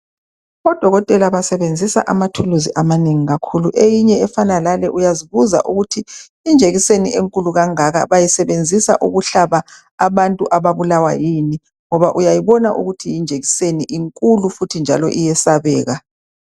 Odokotela basebenzisa amathuluzi amanengi kakhulu. Eyinye efana lale uyazibusa ukuthi ukuthi injekiseni enkulu kangaka bayisebenzisa ukuhlaba abantu ababulawa yini ngoba uyayibona ukuthi linjekiseni inkulu futhi njalo iyesabeka.